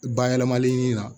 Bayɛlɛmali la